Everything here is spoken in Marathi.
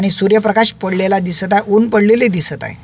आणि सूर्यप्रकाश पडलेला दिसत ऊन पडलेले दिसत आहे.